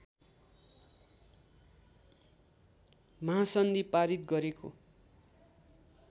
महासन्धि पारित गरेको